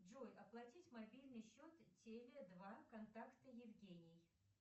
джой оплатить мобильный счет теле два контакта евгений